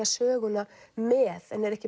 söguna með en eru ekki